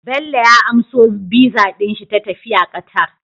Bello ya amso VISA shi ta tafiya Qatar